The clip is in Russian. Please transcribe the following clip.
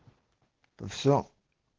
все